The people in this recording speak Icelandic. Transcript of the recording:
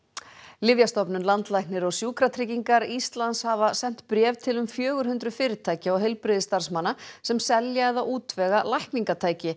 Lyfjastofnun landlæknir og Sjúkratryggingar Íslands hafa sent bréf til um fjögur hundruð fyrirtækja og heilbrigðisstarfsmanna sem selja eða útvega lækningatæki